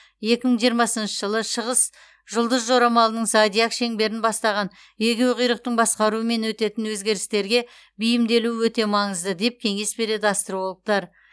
екі мың жиымасыншы жылы шығыс жұлдыз жорамалының зодиак шеңберін бастаған егеуқұйрықтың басқаруымен өтетін өзгерістерге бейімделу өте маңызды деп кеңес береді астрологтар